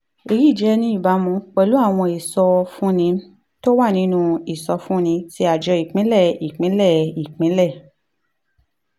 èyí jẹ́ ní ìbámu pẹ̀lú àwọn ìsọfúnni tó wà nínú ìsọfúnni tí àjọ ìpínlẹ̀ ìpínlẹ̀ ìpínlẹ̀